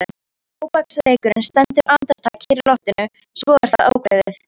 Tóbaksreykurinn stendur andartak kyrr í loftinu svo er það ákveðið.